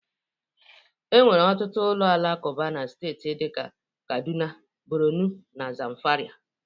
E nwere ọtụtụ ụlọ alakụba na steeti dị ka Kaduna, Borno na Zamfara